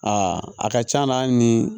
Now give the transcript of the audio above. Aa a ka c'a la hali ni